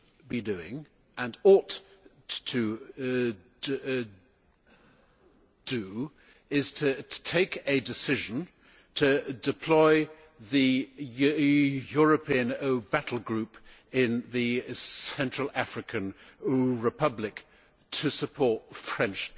be doing and ought to do is taking a decision to deploy the European battlegroup in the Central African Republic to support French